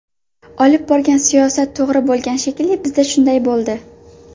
Olib borgan siyosat to‘g‘ri bo‘lgan shekilli, bizda shunday bo‘ldi.